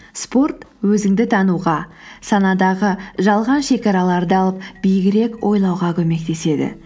спорт өзіңді тануға санадағы жалған шегараларды алып биігірек ойлауға көмектеседі